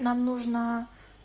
нам нужно